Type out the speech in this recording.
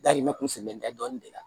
Dahirimɛ kun tɛ dɔɔnin de la